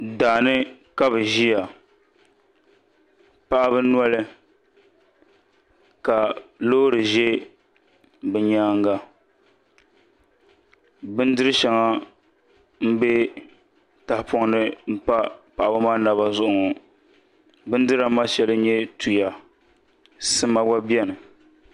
Daani ka bi ʒiya paɣaba noli ka loori ʒɛ bi nyaanga bindiri shɛŋa n bɛ tahapoŋ ni n pa paɣaba maa naba zuɣu ŋo bindira maa shɛli n nyɛ tuya sima gba biɛni